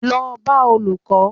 Lọ bá Olùkó!